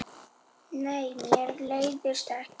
Nei, mér leiðist ekki.